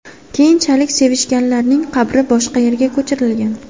Keyinchalik sevishganlarning qabri boshqa yerga ko‘chirilgan.